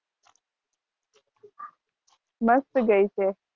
મસ્ત ગઈ છે.